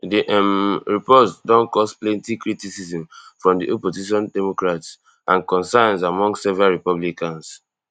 di um report don cause plenty criticism from di opposition democrats and concerns among several republicans